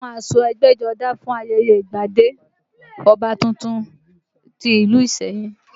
Wọ́n mú aṣọ ẹgbẹ́jọdá fún ayẹyẹ ìgbadé ọba tuntun ti ìlú ìsẹ́yìn